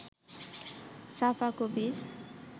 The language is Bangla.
সাফা কবির